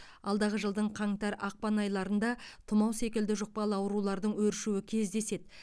алдағы жылдың қаңтар ақпан айларында тұмау секілді жұқпалы аурулардың өршуі кездеседі